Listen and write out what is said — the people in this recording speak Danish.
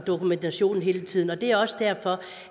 og dokumentationen hele tiden det er også derfor